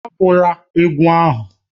Egwula egwu ahụ!